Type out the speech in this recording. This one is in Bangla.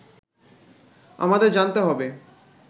আমাদের জানতে হবে